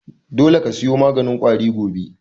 Dole ka siyo maganin ƙwari gobe!